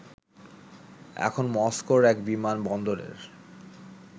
এখন মস্কোর এক বিমান বন্দরের